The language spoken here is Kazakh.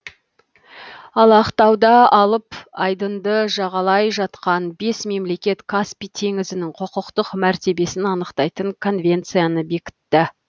ал ақтауда алып айдынды жағалай жатқан бес мемлекет каспий теңізінің құқықтық мәртебесін анықтайтын конвенцияны бекітті